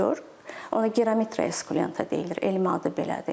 Ona Gyromitra Esculenta deyilir, elmi adı belədir.